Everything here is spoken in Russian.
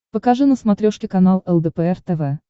покажи на смотрешке канал лдпр тв